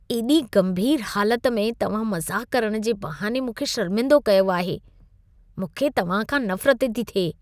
एॾी गंभीर हालत में तव्हां मज़ाक करण जे बहाने मूंखे शर्मिंदो कयो आहे। मूंखे तव्हां खां नफरत थी थिए।